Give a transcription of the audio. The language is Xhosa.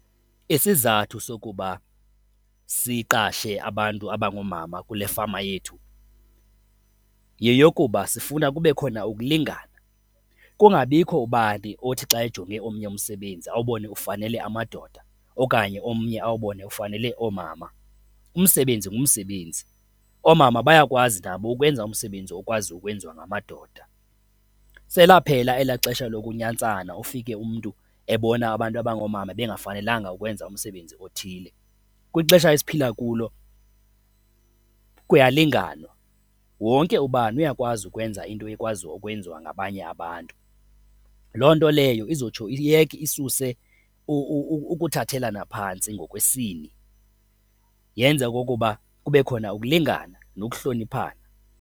Isizathu sokuba siqashe abantu abangoomama kule fama yethu yeyokuba sifuna kube khona ukulingana, kungabikho ubani othi xa ejonge omnye umsebenzi awubona ufanele amadoda okanye omnye awubone ufanele oomama. Umsebenzi ngumsebenzi. Oomama bayakwazi nabo ukwenza umsebenzi okwazi ukwenziwa ngamadoda. Selaphela elaa xesha lokunyantsana, ufike umntu ebona abantu abangoomama bengafanelanga ukwenza umsebenzi othile. Kwixesha esiphila kulo kuyalinganwa, wonke ubani uyakwazi ukwenza into ekwaziyo ukwenziwa ngabanye abantu. Loo nto leyo izotsho iyeke, isuse ukuthathelana phantsi ngokwesini, yenze okokuba kube khona ukulingana nokuhloniphana.